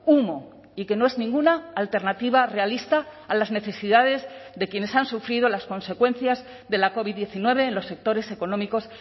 humo y que no es ninguna alternativa realista a las necesidades de quienes han sufrido las consecuencias de la covid diecinueve en los sectores económicos